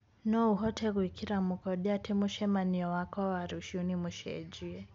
no ũhote gwikira mũkonde ati mucemanio wakwa wa rũcĩũ ni mucenjie